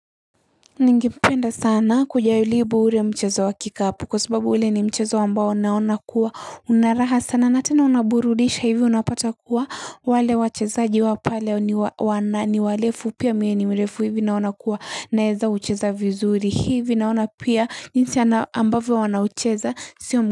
Ningependa sana kujaribu ule mchezo wa kikapu kwa sababu ule ni mchezo ambao naona kuwa una raha sana na tena unaburudisha hivo unapata kuwa wale wachezaji wao pale ni wanani warefu pia mie ni mrefu hivi naona kuwa naeza kucheza vizuri hivi naona pia jinsi ambavyo wanaocheza sio.